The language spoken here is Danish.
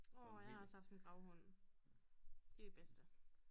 Nåå jeg har også haft en gravhund de er bedste